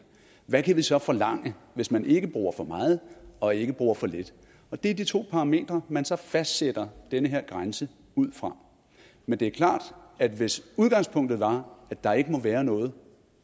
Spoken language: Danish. hvad kan vi så forlange hvis man ikke bruger for meget og ikke bruger for lidt det er de to parametre man så fastsætter den her grænse ud fra men det er klart at hvis udgangspunktet var at der ikke må være noget